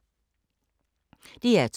DR2